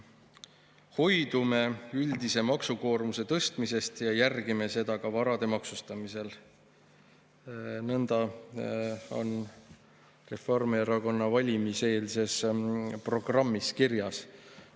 "Hoidume üldise maksukoormuse tõstmisest ja järgime seda ka varade maksustamisel" – nõnda on Reformierakonna valimiseelses programmis kirjas.